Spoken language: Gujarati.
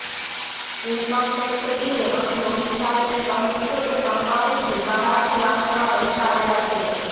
ઇન્કમટેક્સ ટીમે અહીં નોટિસ આપીને કહ્યું છે કે કમ્પાઉન્ડની બહારથી વાહનમાં પૈસા આવ્યા છે